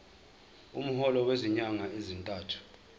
umholo wezinyanga ezintathu